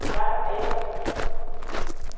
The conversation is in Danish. Jacob Adamsen